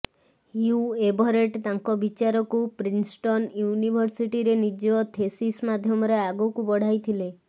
ହ୍ୟୁ Everett ତାଙ୍କ ବିଚାରକୁ Princeton ୟୁନିଭର୍ସିଟିରେ ନିଜ ଥେସିସ ମାଧ୍ୟମରେ ଆଗକୁ ବଢାଇଥିଲେ